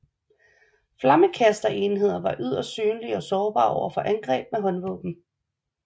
Flammekasterenheder var yderst synlige og sårbare over for angreb med håndvåben